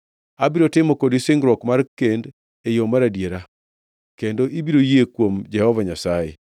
Abiro timo kodi singruok mar kend e yo mar adiera, kendo ibiro yie kuom Jehova Nyasaye.”